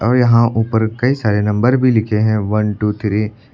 और यहां ऊपर कई सारे नंबर भी लिखे हैं वन टू थ्री ।